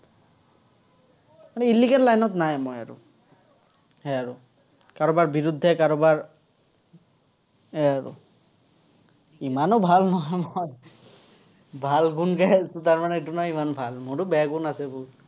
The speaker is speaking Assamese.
মানে illegal line ত নাই মই আৰু। সেয়া আৰু। কাৰোবাৰ বিৰুদ্ধে, কাৰোবাৰ সেয়াই আৰু ইমানো ভাল নহয়, মই। ভাল গুণ গাই আছো, তাৰমানে মোৰো বেয়া গুণ আছে বহুত